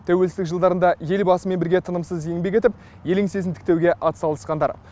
тәуелсіздік жылдарында елбасымен бірге тынымсыз еңбек етіп ел еңсесін тіктеуге атсалысқандар